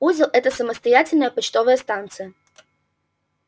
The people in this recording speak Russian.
узел это самостоятельная почтовая станция